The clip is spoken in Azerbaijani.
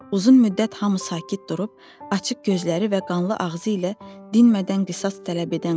Uzun müddət hamı sakit durub açıq gözləri və qanlı ağzı ilə dinmədən qışqırdı.